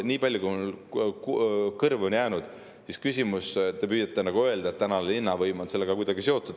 Teate, ma ei tea, te püüate öelda, et tänane linnavõim on sellega kuidagi seotud.